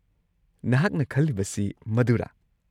ꯅꯍꯥꯛꯅ ꯈꯜꯂꯤꯕꯁꯤ ꯃꯗꯨꯔꯥ?